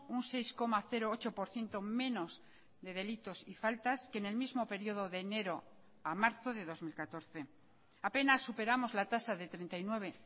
un seis coma ocho por ciento menos de delitos y faltas que en el mismo periodo de enero a marzo de dos mil catorce apenas superamos la tasa de treinta y nueve